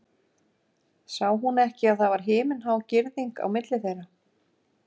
Sá hún ekki að það var himinhá girðing á milli þeirra?